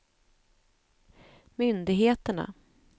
myndigheterna